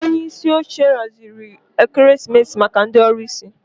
Onye isi oche haziri oriri ekeresimesi maka ndị ọlụsị